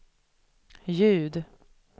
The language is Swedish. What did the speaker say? ljud